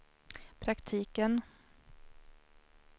praktiken